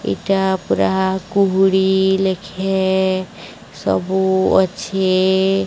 ଏଇଟା ପୂରା କୁହୁଡି ଲେଖେ ସବୁ ଅଛି।